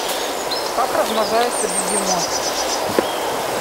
как размножается бегемот